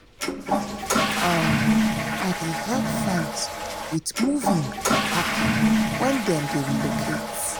um i dey help friends with moving or packing wen dem dey relocate.